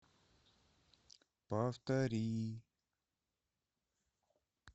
повтори